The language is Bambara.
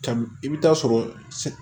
Kabini i bɛ taa sɔrɔ